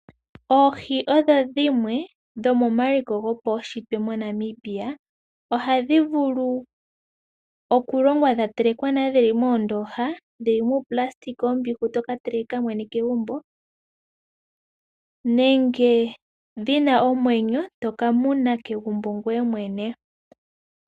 Oohi odho dhimwe dhomomaliko goapnshitwe moNamibia, ohadhi vulu oku longwa dha telekwa nale, dhili moondooha, dhili muunayilona, oombihu toka teleka mwene kegumbo nenge dhina omwenyo, to ka muna kegumbo ngoye mwene.